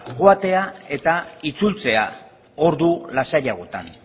joatea eta itzultzea ordu lasaiagotan